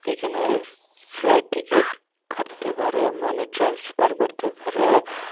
এখানে flight ticket কাটতে পারে মানে ট্রান্সফার করতে পারে।